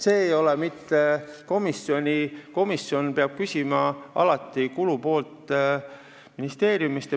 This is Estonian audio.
See ei ole mitte komisjoni otsus, komisjon peab kulupoolt alati küsima ministeeriumist.